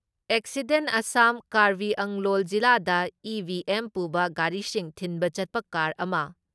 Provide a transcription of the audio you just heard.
accident Assam ꯀꯔꯕꯤꯑꯪꯂꯣꯡ ꯖꯤꯂꯥꯗ EVM ꯄꯨꯕ ꯒꯥꯔꯤꯁꯤꯡ ꯊꯤꯟꯕ ꯆꯠꯄ ꯀꯥꯔ ꯑꯃ